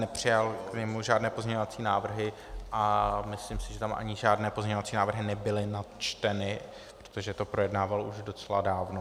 Nepřijal k němu žádné pozměňovací návrhy a myslím si, že tam ani žádné pozměňovací návrhy nebyly načteny, protože to projednával už docela dávno.